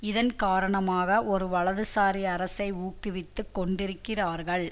இதன் காரணமாக ஒரு வலதுசாரி அரசை ஊக்குவித்துக் கொண்டிருக்கிறார்கள்